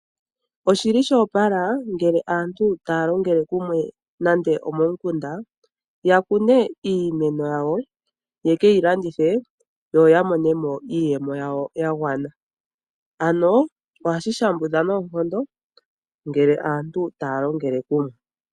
Oshili sho opala ngele aantu taya longele kumwe nande omomukunda. Yakune iimeno yawo ye keyilandithe yo ya monemo iiyemo yawo ya gwana. Ano ohashi shambudha noonkondo ngele aantu taya longele kumwe.